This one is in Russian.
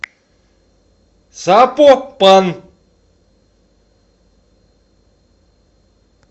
сапопан